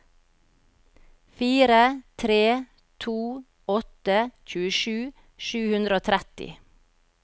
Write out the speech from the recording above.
fire tre to åtte tjuesju sju hundre og tretti